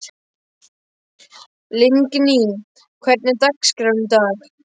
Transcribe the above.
Lingný, hvernig er dagskráin í dag?